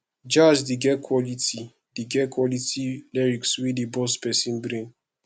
jazz dey get quality dey get quality lyrics wey dey burst person brain